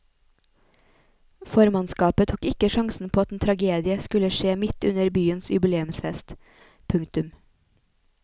Formannskapet tok ikke sjansen på at en tragedie skulle skje midt under byens jubileumsfest. punktum